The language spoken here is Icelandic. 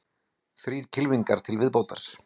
Þrír kylfingar til viðbótar